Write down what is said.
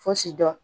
Fosi dɔn